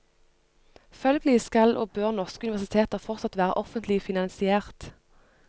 Følgelig skal og bør norske universiteter fortsatt være offentlig finansiert.